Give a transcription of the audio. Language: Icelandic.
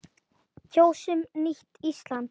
Kjósum nýtt Ísland.